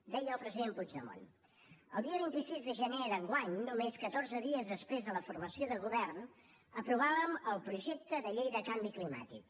deia el president puigdemont el dia vint sis de gener d’enguany només catorze dies després de la formació del govern aprovàrem el projecte de llei del canvi climàtic